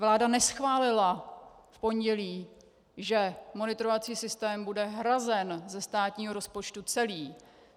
Vláda neschválila v pondělí, že monitorovací systém bude hrazen ze státního rozpočtu celý.